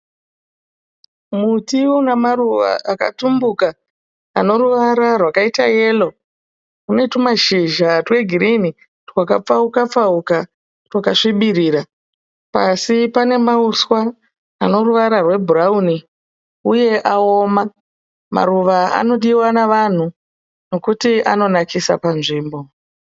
Muti unamaruva akatumbuka, anoruvara rwakaita yellow unetumashizha twegreen twakapfauka pfauka twakasvibirira. Pasi pane mauswa anoruvara rwebrown uye aoma. Maruva anodiwa navanhu nokuti anonakisa panzvimbo.